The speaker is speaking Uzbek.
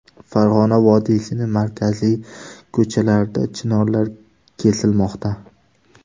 Farg‘ona vodiysining markaziy ko‘chalarida chinorlar kesilmoqda .